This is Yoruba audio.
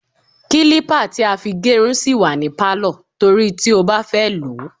Kílípà tí a fi gérun sì wà ní Pálọ̀ torí tí ó bá fẹ́ lòó.